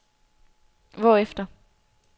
hvorefter